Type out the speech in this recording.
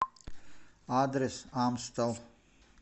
адрес амстел